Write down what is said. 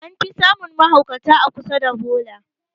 An fi samun mahaukata a kusa da bola